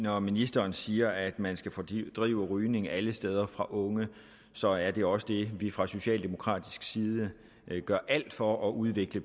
når ministeren siger at man skal fordrive rygning alle steder for unge så er det også det vi fra socialdemokratisk side gør alt for at udvikle